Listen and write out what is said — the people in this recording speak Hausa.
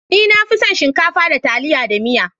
Ni na fi son shinkafa da taliya da miya.